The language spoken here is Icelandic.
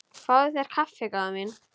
Fáðu þér kaffi góða mín.